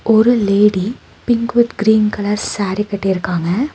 ஒரு lady pink with green colour sari கட்டிருக்காங்க.